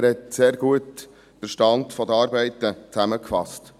Er hat den Stand der Arbeiten sehr gut zusammengefasst.